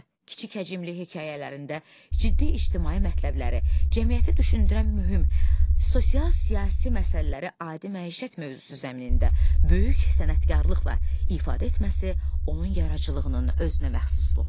Kiçik həcmli hekayələrində ciddi ictimai mətləbləri, cəmiyyəti düşündürən mühüm sosial-siyasi məsələləri adi məişət mövzusu zəminində böyük sənətkarlıqla ifadə etməsi onun yaradıcılığının özünəməxsusluğudur.